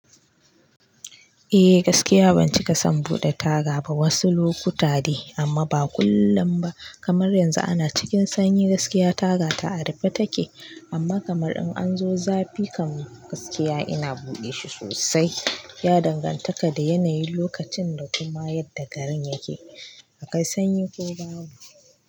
Eh gaskiya ban cika san buɗe taga ba, wasu lokuta dai amma ba kullum ba kamar yanzu ana cikin sanyi gaskiya taga ta a rufe take amma kamar in an zo zafi kan gaskiya ina buɗe shi sosai ya dangantaka da yanayin lokacin da kuma yadda garin yake akwai sanyi ko babu.